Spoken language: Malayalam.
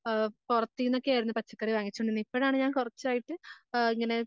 ആഹ് പൊറത്തിനെക്കെയായിരുന്നു പച്ചക്കറി വാങ്ങിച്ചു കൊണ്ടിരുന്നത് ഇപ്പഴാണ് ഞാൻ കൊറച്ച് ആഹ് ഇങ്ങനെ